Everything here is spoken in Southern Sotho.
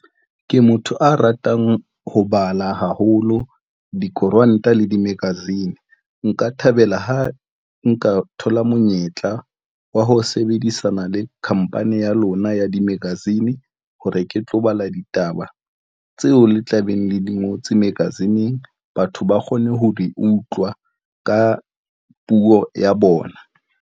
Ke motho a ratang ho bala haholo dikoranta le di-magazine. Nka thabela ha nka thola monyetla wa ho sebedisana le khampane ya lona ya di-magazine, hore ke tlo bala ditaba tseo le tlabeng le di ngotswe magazine-ng. Batho ba kgone ho di utlwa ka puo ya bona.